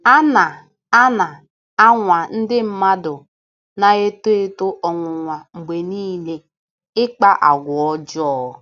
A na - A na - anwa Ndị mmadu na - eto eto ọnwụnwa mgbe niile ịkpa àgwà ọjọọ.